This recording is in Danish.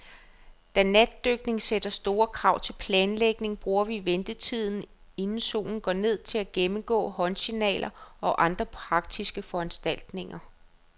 Da natdykning sætter store krav til planlægning, bruger vi ventetiden, inden solen går ned, til at gennemgå håndsignaler og andre praktiske foranstaltninger.